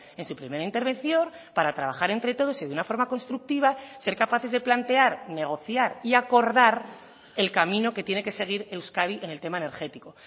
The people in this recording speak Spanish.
en su primera intervención para trabajar entre todos y de una forma constructiva ser capaces de plantear negociar y acordar el camino que tiene que seguir euskadi en el tema energético